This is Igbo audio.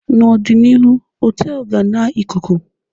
n'ọdịnihu họtelu ga-na Ịkụku